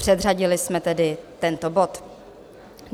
Předřadili jsme tedy tento bod.